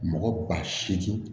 Mɔgɔ ba seegin